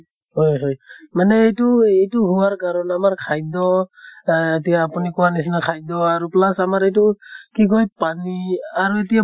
হয় হয় । মানে এইটো এইটো হোৱাৰ কাৰণ আমাৰ খাদ্য় এহ এতিয়া আপুনি কোৱাৰ নিছিনা খাদ্য় আৰু plus আমাৰ এইটো কি কয় পানী আৰু এতিয়া